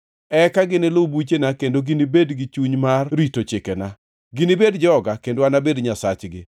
Eka ginilu buchena kendo ginibed gi chuny mar rito chikena. Ginibed joga, kendo anabed Nyasachgi.